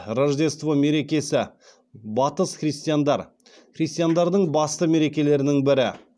рождество мерекесі христиандардың басты мерекелерінің бірі